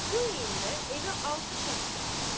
Bu heyndə evə altı şəxs daxil oldu.